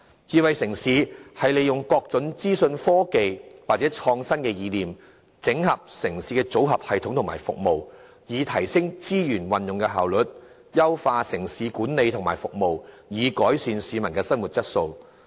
智慧城市是利用各種資訊科技或創新的意念，整合城市的組合系統及服務，以提升資源運用的效率，並優化城市管理及服務，藉以改善市民的生活質素。